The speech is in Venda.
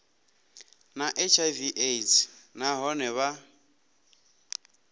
na hiv aids nahone vha